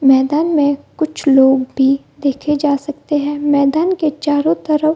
मैदान में कुछ लोग भी देखे जा सकते हैं मैदान के चारों तरफ --